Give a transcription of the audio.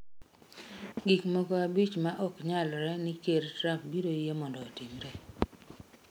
Gik moko abich ma ok nyalre ni Ker Trump biro yie mondo otimre.